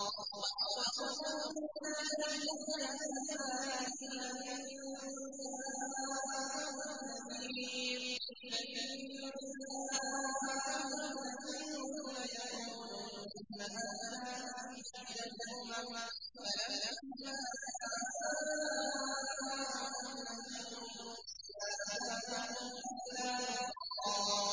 وَأَقْسَمُوا بِاللَّهِ جَهْدَ أَيْمَانِهِمْ لَئِن جَاءَهُمْ نَذِيرٌ لَّيَكُونُنَّ أَهْدَىٰ مِنْ إِحْدَى الْأُمَمِ ۖ فَلَمَّا جَاءَهُمْ نَذِيرٌ مَّا زَادَهُمْ إِلَّا نُفُورًا